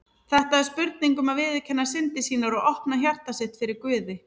Þetta er spurning um að viðurkenna syndir sínar og opna hjarta sitt fyrir Guði.